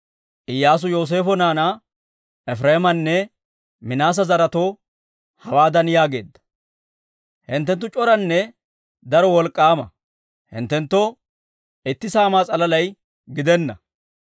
Iyyaasu Yooseefo naanaa Efireemanne Minaase zaretoo, hawaadan yaageedda; «Hinttenttu c'oranne daro wolk'k'aama; hinttenttoo itti saamaa s'alaalay gidenna.